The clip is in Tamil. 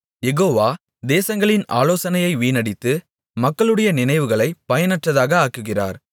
யெகோவா தேசங்களின் ஆலோசனையை வீணடித்து மக்களுடைய நினைவுகளை பயனற்றதாக ஆக்குகிறார்